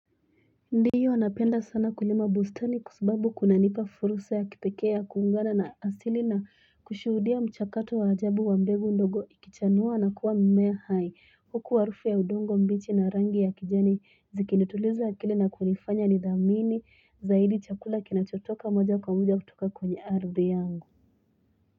Ndio napenda sana kulima bustani kwasababu kunanipa fursa ya kipekee ya kuungana na asili na kushuhudia mchakato wa ajabu wa mbegu ndogo ikichanua na kuwa mmea hai huku harufu ya udongo mbichi na rangi ya kijani zikinituliza akili na kunifanya ni dhamini zaidi chakula kinachotoka moja kwa moja kutoka kwenye arthi yangu.